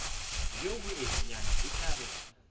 bjo boteenyana e tla re